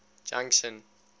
junction